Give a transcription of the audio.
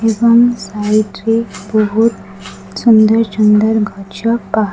ଏବଂ ସାଇଟ୍ ରେ ବହୁତ୍ ସୁନ୍ଦର୍ ସୁନ୍ଦର୍ ଗଛ ପାହା --